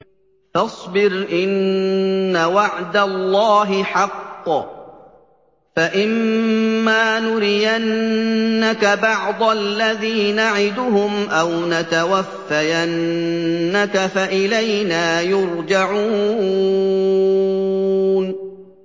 فَاصْبِرْ إِنَّ وَعْدَ اللَّهِ حَقٌّ ۚ فَإِمَّا نُرِيَنَّكَ بَعْضَ الَّذِي نَعِدُهُمْ أَوْ نَتَوَفَّيَنَّكَ فَإِلَيْنَا يُرْجَعُونَ